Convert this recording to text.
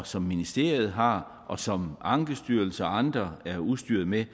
som ministeriet har og som ankestyrelsen og andre er udstyret med